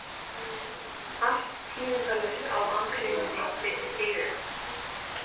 Allt tíðindalaust á akreininni við hliðina.